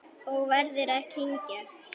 Og verður að kyngja.